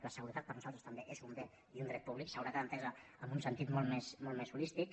la seguretat per nosaltres també és un bé i un dret públic seguretat entesa en un sentit molt més holístic